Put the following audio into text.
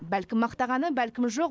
бәлкім мақтағаны бәлкім жоқ